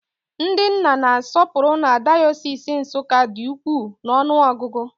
Ndị nna na-asọpụrụ na dayọsis Nsukka dị ukwuu n'ọnụ ọgụgụ